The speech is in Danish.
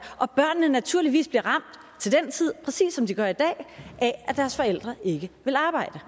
og børnene naturligvis til den tid bliver præcis som de gør i dag af at deres forældre ikke vil arbejde